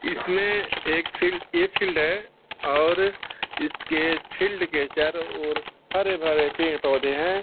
इसमें एक फील्ड ये फील्ड है और इसके फील्ड के चारों और हरे-भरे पेड़-पोधे हैं।